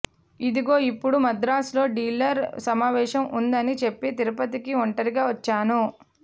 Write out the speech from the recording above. ఇదిగో ఇపుడు మద్రాసులో డీలర్ల సమావేశం ఉందని చెప్పి తిరుపతికి ఒంటరిగా వచ్చాను